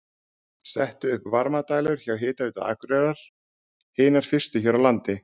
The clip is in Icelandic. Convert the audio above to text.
Settar upp varmadælur hjá Hitaveitu Akureyrar, hinar fyrstu hér á landi.